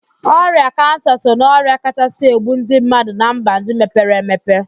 Ọrịa kansa so na ọrịa kachaa egbu ndị mmadụ na mba ndị mepere emepe